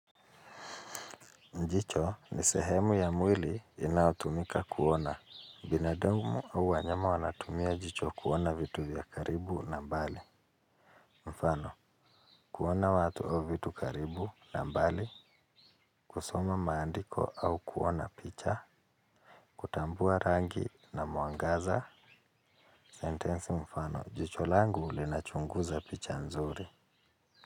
Jicho ni sehemu ya mwili inayotumika kuona. Binadamu au wanyama wanatumia jicho kuona vitu vya karibu na mbali. Mfano, kuona watu au vitu karibu na mbali, kusoma maandiko au kuona picha, kutambua rangi na mwangaza, sentensi mfano, jicho langu ulinachunguza picha nzuri.